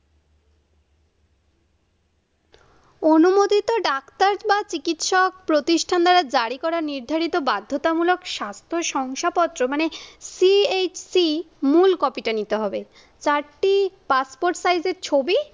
অনুমোদিত ডাক্তার বা চিকিৎসক প্রতিষ্ঠান দ্বারা জারি করা নির্ধারিত বাধ্যতামূলক স্বাস্থ্য শংসাপত্র মানে CHC মূল কপিটা নিতে হবে চারটি পাসপোর্ট সাইজের ছবি